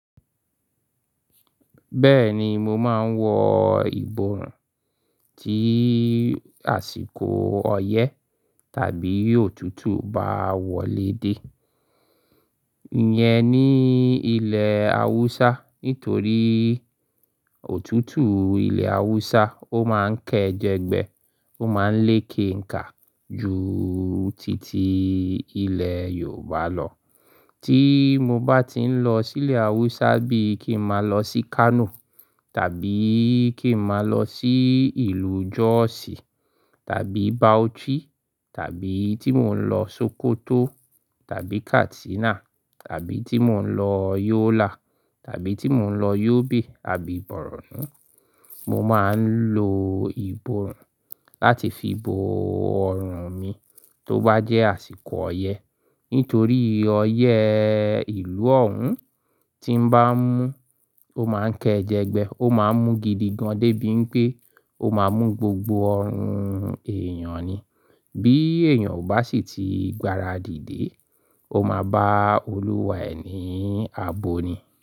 Bẹ́ẹ̀ni, mo máa ń wọ ìbòrùn tí àsìkò ọyẹ́ tàbí òtútù bá wọlé dé. Iyẹn ní ilẹ̀ Hausa, nítorí òtútù ilẹ̀ Hausa ó máa ń kẹ́ jẹgbẹ, ó máa ń le kenkà ju titi ilẹ̀ Yorùbá lọ. Tí mo bá ti ń lọ sí ilẹ̀ Hausa bíi kí n máa lọ sí Kano tàbí kí n máa lọ sí ìlú Jos tàbí Bauchi tàbí tí mò ń lọ Sokoto tàbí Katsina tàbí tí mò ń lọ Yola tàbí tí mò ń lọ Yobe àbí Borno, mo máa ń lo ìbòrùn láti fi bo ọrùn mi tó bá jẹ́ àsìkò ọyẹ́. Nítorí ọyẹ́ ìlú ọ̀ún tí ń bá mú, ó máa ń kẹ́ jẹgbẹ, ó máa ń mú gidi gan debí wipé ó máa mú gbogbo ọrùn èèyàn ni. Bí èèyàn ò bá sì tí gbáradì dé, ó máa bá olúwa ẹ̀ ní abo ni.